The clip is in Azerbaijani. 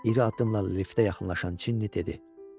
İri addımlarla liftə yaxınlaşan Çinni dedi.